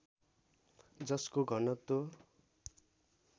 जसको घनत्व